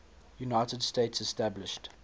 united states established